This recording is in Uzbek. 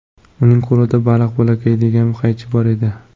Uning qo‘lida baliq bo‘laklaydigan qaychi bor edi.